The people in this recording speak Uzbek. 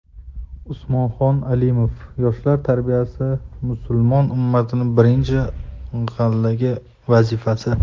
Usmonxon Alimov: Yoshlar tarbiyasi musulmon ummatining birinchi galdagi vazifasi.